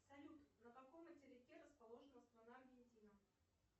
салют на каком материке расположена страна аргентина